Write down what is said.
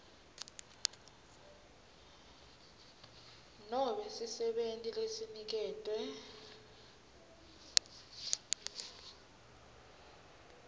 nobe sisebenti lesiniketwe